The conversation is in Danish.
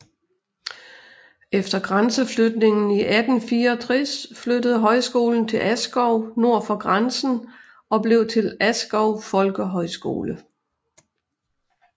Efter grænseflytningen i 1864 flyttede højskolen til Askov nord for grænsen og blev til Askov Folkehøjskole